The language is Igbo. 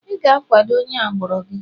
ị ga-akwado onye agbụrụ gị